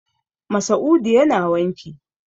Masa'udu yana wanki.